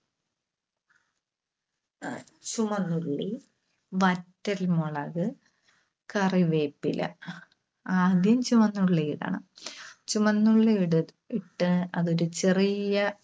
അഹ് ചുവന്നുള്ളി, വറ്റൽമുളക്, കറിവേപ്പില. ആദ്യം ചുവന്നുള്ളി ഇടണം. ചുവന്നുള്ളി ഇട് ഇട്ട് അതൊരു ചെറിയ